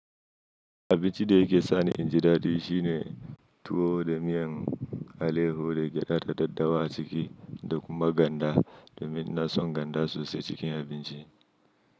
Abinci da yake sa ni in ji daɗi shine tuwo da miyan aleho da gyada da daddawa a ciki da kuma ganda, domin na son ganda sosai cikin abinci.